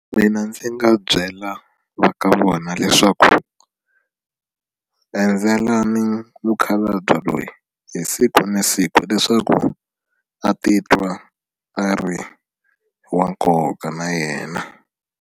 Mina ndzi nga byela va ka vona leswaku endzelani mukhalabye loyi hi siku na siku leswaku a titwa a ri wa nkoka na yena.